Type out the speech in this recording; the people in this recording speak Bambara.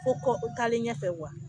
Fo kɔ taalen ɲɛfɛ